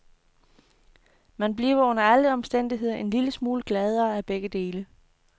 Man bliver under alle omstændigheder en lille smule gladere af begge dele.